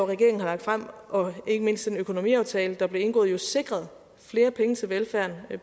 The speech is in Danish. regeringen har fremsat og ikke mindst den økonomiaftale der blev indgået jo sikret flere penge til velfærden